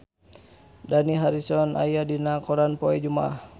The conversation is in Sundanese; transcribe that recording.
Dani Harrison aya dina koran poe Jumaah